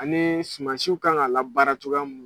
Ani sumansiw kan ka labaara cogoya min